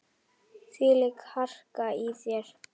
Þvílík harka í þér.